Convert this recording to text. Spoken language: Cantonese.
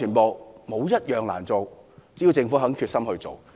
沒有一項難做，只要政府有決心便可。